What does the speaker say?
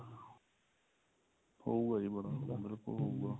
ਹੋਊਗਾ ਜੀ ਬੜਾ ਉਹ ਹੋਊਗਾ